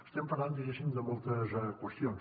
estem parlant diguéssim de moltes qüestions